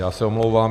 Já se omlouvám.